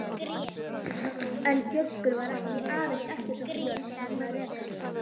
En Gjögur var ekki aðeins eftirsótt jörð vegna rekans.